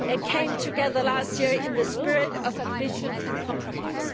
speak, came together last year in the spirit of ambition and compromise.